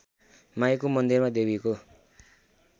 माईको मन्दिरमा देवीको